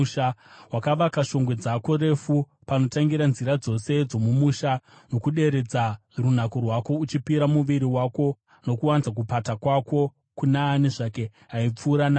Wakavaka shongwe dzako refu panotangira nzira dzose dzomumusha ndokuderedza runako rwako, uchipira muviri wako nokuwanza kupata kwako kuna ani zvake aipfuura napauri.